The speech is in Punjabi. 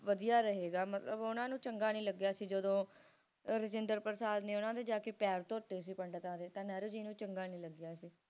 ਵਧੀਆ ਰਹੇਗਾ ਮਤਲਬ ਓਹਨਾ ਨੂੰ ਚੰਗਾ ਨਹੀਂ ਲੱਗਿਆ ਸੀ ਜਦੋ ਰਾਜਿੰਦਰ ਪ੍ਰਸਾਦ ਜੀ ਨੇ ਜਾ ਕੇ ਓਹਨਾ ਦੇ ਪੈਰ ਧੋਤੇ ਸੀਗੇ ਜਵਾਹਰ ਲਾਲ ਨਹਿਰੂ ਜੀ ਨੂੰ ਚੰਗਾ ਨੀ ਲਗਿਆ ਸੀ